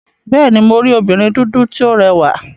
Bẹ́ẹ̀ni, mo rí obìnrin dúdú tí ó rẹwà.